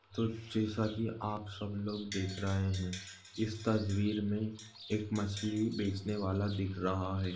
तो जैसा की आप सब लोग देख रहे है इस तस्वीर मे एक मछली बेचने वाला दिख रहा है।